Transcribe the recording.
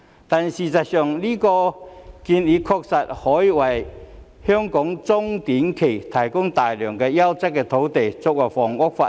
但是，這項建議確實可以在短、中期，為香港提供大量優質的土地作為房屋發展。